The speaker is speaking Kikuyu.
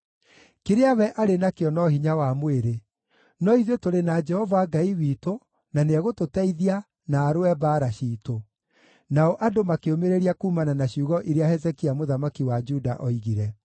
Kĩrĩa we arĩ nakĩo no hinya wa mwĩrĩ; no ithuĩ tũrĩ na Jehova Ngai witũ, na nĩegũtũteithia, na arũe mbaara ciitũ.” Nao andũ makĩũmĩrĩria kuumana na ciugo iria Hezekia mũthamaki wa Juda oigire.